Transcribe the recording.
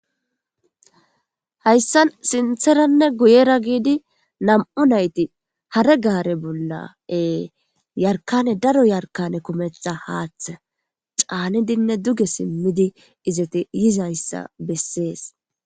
hayssan sintheranne guyera giidi nam7u nayti hare gaare bollae yarkane daro yarkane kumetha haaththe caanidinne duge simmidi izate yizayssa bessees